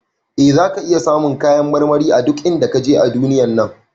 Eh, zaka iya samun kayan marmari a duk inda kaje a duniyar nan.